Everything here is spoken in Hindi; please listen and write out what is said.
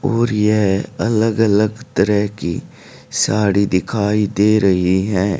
और यह अलग अलग तरह की साड़ी दिखाई दे रही है।